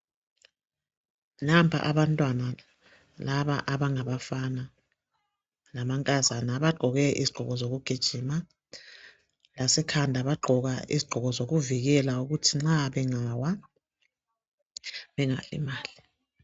Nampa abantwana laba abangabafana lamankazana bagqoke izigqoko zokugijima lasekhanda bagqoka izigqoko zokuvikela ukuthi nxa bangawa bengalimali.